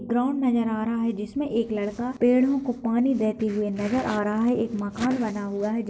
Ground नज़र आ रहा है जिसमें एक लड़का पेड़ो को पानी देते हुए नज़र आ रहा है। एक मकान बना हुआ है जिस --